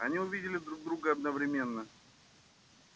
они увидели друг друга одновременно